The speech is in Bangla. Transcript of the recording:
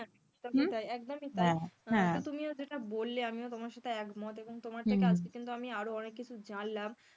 হ্যাঁ একদমই তাই একদমই তাই, তো তুমি যেটা বললে আমিও তোমার সাথে একমত এবং তোমার আমি আরো অনেক কিছু জানলাম,